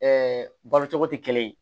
balo cogo tɛ kelen ye